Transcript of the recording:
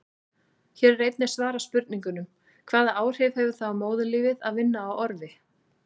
Hér er einnig svarað spurningunum: Hvaða áhrif hefur það á móðurlífið að vinna á orfi?